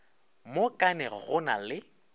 mo kanege go na le